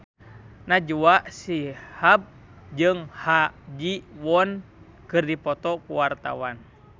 Najwa Shihab jeung Ha Ji Won keur dipoto ku wartawan